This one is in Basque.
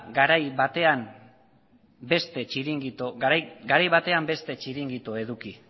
garai batean beste txiringito eduki